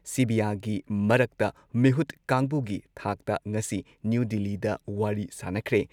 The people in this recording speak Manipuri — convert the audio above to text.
ꯁꯤꯚꯤꯌꯥꯒꯤ ꯃꯔꯛꯇ ꯃꯤꯍꯨꯠ ꯀꯥꯡꯕꯨꯒꯤ ꯊꯥꯛꯇ ꯉꯁꯤ ꯅ꯭ꯌꯨ ꯗꯤꯜꯂꯤꯗ ꯋꯥꯔꯤ ꯁꯥꯟꯅꯈ꯭ꯔꯦ꯫